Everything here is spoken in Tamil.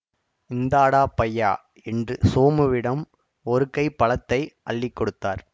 இந்தாடா பையா என்று சோமுவிடம் ஒருகை பழத்தை அள்ளி கொடுத்தார்